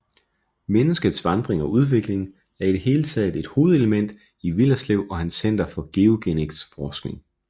Menneskets vandring og udvikling er i det hele taget et hovedelement i Willerslev og hans Center for GeoGenetiks forskning